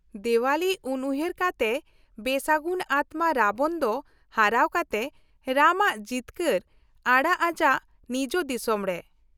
-ᱫᱮᱣᱟᱞᱤ ᱩᱱᱩᱦᱟᱹᱨ ᱠᱟᱛᱮ ᱵᱮᱥᱟᱹᱜᱩᱱ ᱟᱛᱢᱟ ᱨᱟᱵᱚᱱ ᱫᱚ ᱦᱟᱨᱟᱣ ᱠᱟᱛᱮ ᱨᱟᱢ ᱟᱜ ᱡᱤᱛᱠᱟᱹᱨ ᱟᱲᱟᱜ ᱟᱡᱟᱜ ᱱᱤᱡ ᱫᱤᱥᱚᱢᱨᱮ ᱾